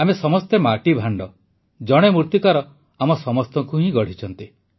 ଆମେ ସମସ୍ତେ ମାଟିଭାଣ୍ଡ ଜଣେ ମୂର୍ତିକାର ଆମ ସମସ୍ତଙ୍କୁ ହିଁ ଗଢ଼ିଛନ୍ତି